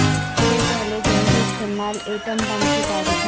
کے پہلے جنگی استعمال ایٹم بم کی تاریخ میں